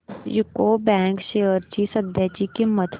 UCO bank shares ची सध्याची किंमत